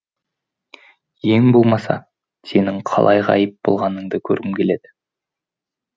ең болмаса сенің қалай ғайып болғаныңды көргім келеді